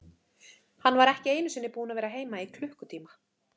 Hann var ekki einu sinni búinn að vera heima í klukkutíma.